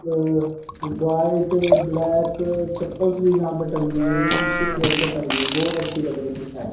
अअ white black चप्पल से यहां पर टंगी हुई हैं जो शीशे के अंदर टंगी हैं बहोत अच्छी लग रही हैं।